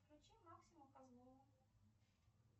включи максимум козлова